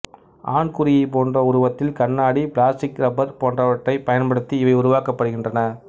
ஆண்குறியைப் போன்ற உருவத்தில் கண்ணாடி பிளாஸ்டிக் இரப்பர் போன்றவற்றைப் பயன்படுத்தி இவை உருவாக்கப்படுகின்றன